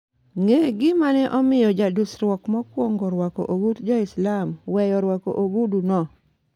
ng'e gima ne omiyo jadusruok mokuongo rwako ogut jo-Islam weyo rwako ogudu no